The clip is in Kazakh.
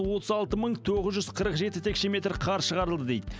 отыз алты мың тоғыз жүз қырық жеті текше метр қар шығарылды дейді